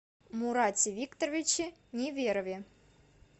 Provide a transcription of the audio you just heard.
мурате викторовиче неверове